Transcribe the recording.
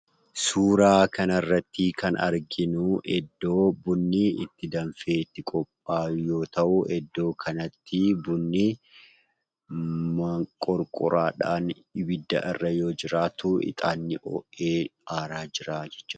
Suuraa kanarratti kan arginuu iddoo bunni itti danfee itti qophaa'u yoo ta'u, iddoo kanatti bunni moonqorqoraadhaan ibidda irra yoo jiraatu ixaanni hoo'ee aaraa jiraa jechuudha.